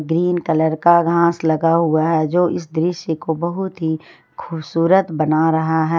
Green colour का घास लगा हुआ है जो इस दृश्य को बहुत ही खूबसूरत बना रहा है।